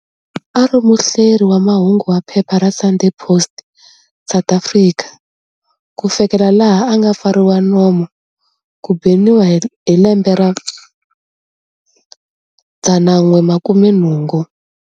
A a ri muhleri wa mahungu wa phepha ra"Sunday Post", South Africa, ku fikela laha a nga pfariwa nomu, ku beniwa, hi lembe ra 1980.